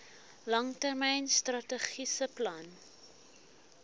langtermyn strategiese plan